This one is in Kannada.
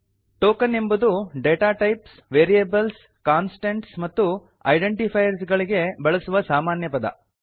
ಟೋಕನ್ ಎಂಬುದು ಡಾಟಾ ಟೈಪ್ಸ್ ವೇರಿಯೇಬಲ್ಸ್ ಕಾನ್ಸ್ಟಂಟ್ಸ್ ಮತ್ತು ಐಡೆಂಟಿಫೈಯರ್ಸ್ ಗಳಿಗೆ ಬಳಸುವ ಸಾಮಾನ್ಯ ಪದ